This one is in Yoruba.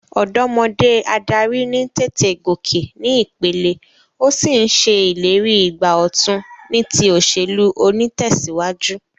Òdómodé adarí ní tètè gòkè ní ìpele, o sí n se ìlérí ìgbà òtun ní ti òsèlú onítèsíwájú